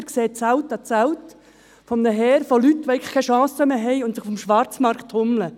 Dort sehen Sie Zelt an Zelt ein Heer an Leuten, die keine Chance mehr haben und sich auf dem Schwarzmarkt tummeln.